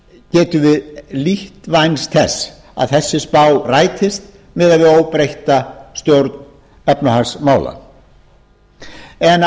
getum við lítt vænst þess að þessi spá rætist miðað við óbreytta stjórn efnahagsmála á